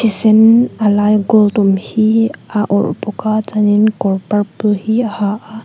thi sen a laia gold awm hi a awrh bawk a chuanin kawr purple hi a ha a.